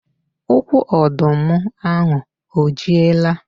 Ukwu ọdụ m ahụ o jiela?